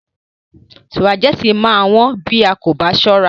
Sùpàgẹ́tì máa wón bí a kò bá sọ́ra.